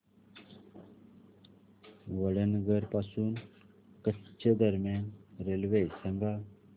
वडनगर पासून कच्छ दरम्यान रेल्वे सांगा